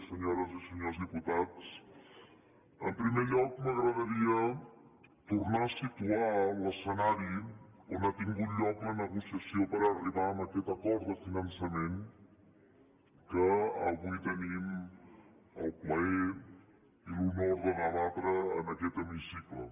senyores i senyors diputats en primer lloc m’agradaria tornar a situar l’escenari on ha tingut lloc la negociació per arribar en aquest acord de finançament que avui tenim el plaer i l’honor de debatre en aquest hemicicle